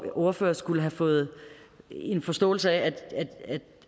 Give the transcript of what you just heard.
ordfører skulle have fået en forståelse af